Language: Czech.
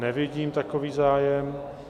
Nevidím takový zájem...